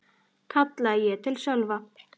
kallaði ég til Sölva.